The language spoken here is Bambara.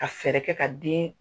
Ka fɛɛrɛ kɛ ka den